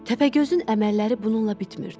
Təpəgözün əməlləri bununla bitmirdi.